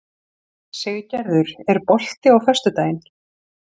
Siggerður, er bolti á föstudaginn?